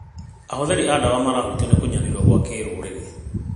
Ahũthĩri a ndawa marahutio nĩ kũnyarirũo gwa kĩrũrĩrĩ.